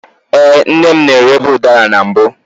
Ee, nne m na-erebu udara na mbụ.